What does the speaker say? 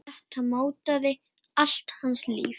Þetta mótaði allt hans líf.